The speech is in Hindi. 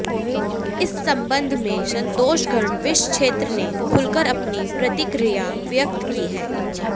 इस संबंध में संतोषगढ़ विस क्षेत्र ने खुलकर अपनी प्रतिक्रिया व्यक्त की है